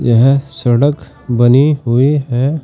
यह सड़क बनी हुई है।